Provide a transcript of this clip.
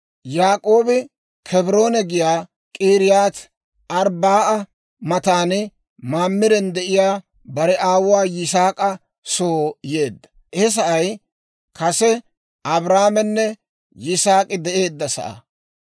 Yaak'oobi (Kebroona giyaa) K'iriyaati-Arbba'a matan Maamiren de'iyaa, bare aawuwaa Yisaak'a soo yeedda; he sa'ay kase Abrahaamenne Yisaak'i de'eedda sa'aa.